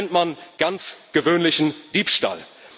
Das nennt man ganz gewöhnlichen Diebstahl.